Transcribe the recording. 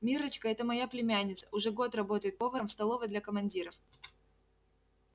миррочка это моя племянница уже год работает поваром в столовой для командиров